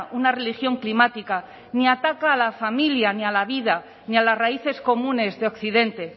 una religión climática ni ataca a la familia ni a la vida ni a las raíces comunes de occidente